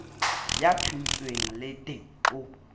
ya thontsweng le d ho